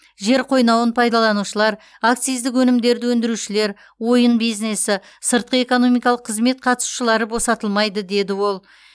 жер қойнауын пайдаланушылар акциздік өнімдерді өндірушілер ойын бизнесі сыртқы экономикалық қызмет қатысушылары босатылмайды деді ол